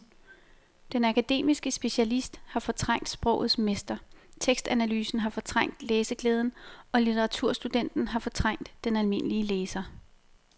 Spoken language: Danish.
Den akademiske specialist har fortrængt sprogets mester, tekstanalysen har fortrængt læseglæden og litteraturstudenten har fortrængt den almindelige læser.